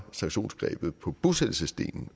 sanktionsgrebet på bosættelsesdelen